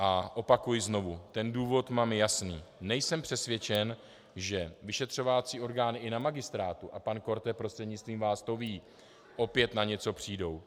A opakuji znovu, ten důvod mám jasný: nejsem přesvědčen, že vyšetřovací orgány i na Magistrátu, a pan Korte prostřednictvím vás to ví, opět na něco přijdou.